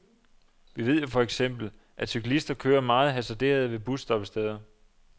Vi ved jo for eksempel, at cyklister kører meget hasarderet ved busstoppesteder.